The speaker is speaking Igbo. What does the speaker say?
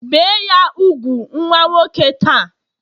Bee ya úgwù nwa nwoke ta!